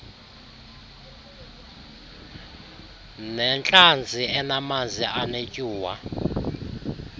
nentlanzi enamanzi anetyuwa